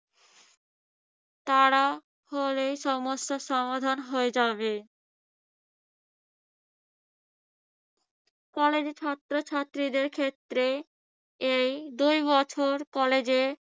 তারা হলে সমস্যা সমাধান হয়ে যাবে। কলেজে ছাত্রছাত্রীদের ক্ষেত্রে এই দুবছর কলেজে